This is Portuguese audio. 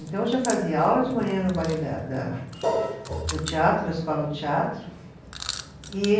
Então, eu já fazia aula de manhã no ballet da da, do teatro, na escola do teatro. E